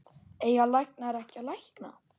Eiga læknar ekki að lækna?